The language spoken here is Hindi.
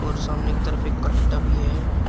और सामने की तरफ एक कट्टा भी है।